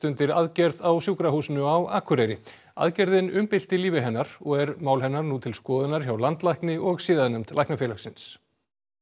undir aðgerð á Sjúkrahúsinu á Akureyri aðgerðin umbylti lífi hennar og er mál hennar nú til skoðunar hjá landlækni og siðanefnd Læknafélagsins